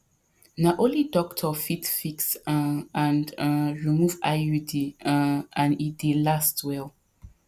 na only doctor fit fix um and um remove iud um and e dey last well